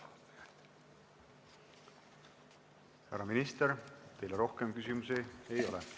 Härra minister, teile rohkem küsimusi ei ole.